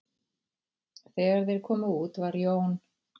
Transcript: Þegar þeir komu út var Jón